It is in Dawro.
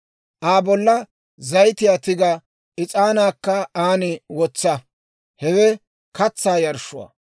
Aa bolla zayitiyaa tiga; is'aanaakka aan wotsa; hewe katsaa yarshshuwaa.